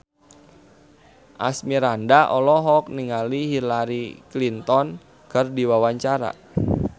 Asmirandah olohok ningali Hillary Clinton keur diwawancara